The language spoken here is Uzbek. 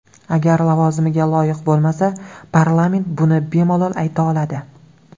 Agar lavozimiga loyiq bo‘lmasa, parlament buni bemalol ayta oladi.